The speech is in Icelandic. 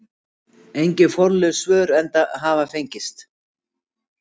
Engin formleg svör hafa fengist.